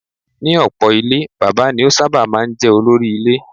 Nínú ọ̀pọ̀ ilé Bàbá ni ó sábà máa ń jẹ́ olórí ile.